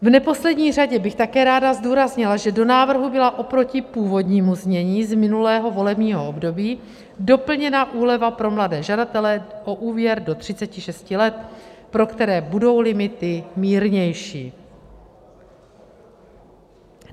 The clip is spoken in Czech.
V neposlední řadě bych také ráda zdůraznila, že do návrhu byla oproti původnímu znění z minulého volebního období doplněna úleva pro mladé žadatele o úvěr do 36 let, pro které budou limity mírnější.